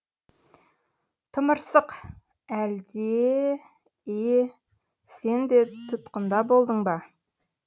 тымырсық әлде е сен де тұтқында болдың ба